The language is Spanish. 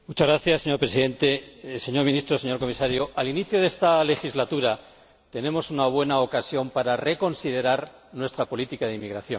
Señor Presidente, señor Ministro, señor Comisario, al inicio de esta legislatura, tenemos una buena ocasión para reconsiderar nuestra política de inmigración.